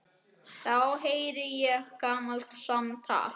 Þá heyri ég gamalt samtal.